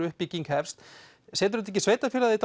uppbygging hefst setur þetta ekki sveitarfélagið í